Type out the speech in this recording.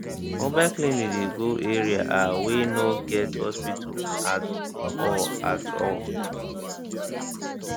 mobile clinic dey go areaah wey no get hospital at hospital at all